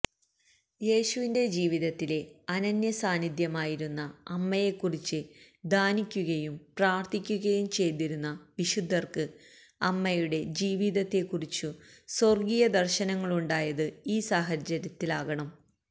യേശുവിന്റെ ജീവിതത്തിലെ അനന്യസാന്നിധ്യമായിരുന്ന അമ്മയെക്കുറിച്ച് ധ്യാനിക്കുകയും പ്രാർത്ഥിക്കുകയും ചെയ്തിരുന്ന വിശുദ്ധർക്ക് അമ്മയുടെ ജീവിതത്തെക്കുറിച്ചു സ്വർഗീയ ദർശനങ്ങളുണ്ടായത് ഈ സാഹചര്യത്തിലാകണം